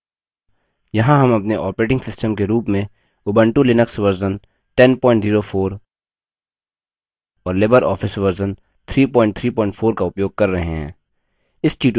यहाँ हम अपने operating system के रूप में उबंटु लिनक्स version 1004 और libreoffice version 334 का उपयोग कर रहे हैं